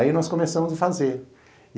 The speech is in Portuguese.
Aí nós começamos a fazer.